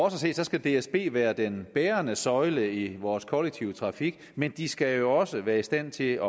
at se skal dsb være den bærende søjle i vores kollektive trafik men de skal jo også være i stand til